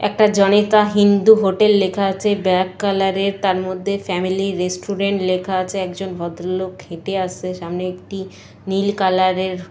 একটা জনিতা হিন্দু হোটেল লেখা আছে ব্ল্যাক কালারের তার মধ্যে ফ্যামিলি রেস্টুরেন্ট লেখা আছে একজন ভদ্রলোক খেতে আসছে সামনে একটি নীল কালারের --